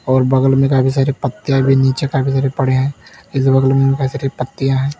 और बगल में काफी सारी पत्तिया भी नीचे काफी सारे पड़े हैं। इस बगल में काफी सारे पत्तियां हैं।